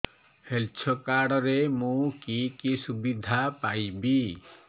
health card ରେ ମୁଁ କି କି ସୁବିଧା ପାଇବି